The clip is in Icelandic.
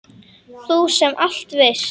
Þú sem allt veist.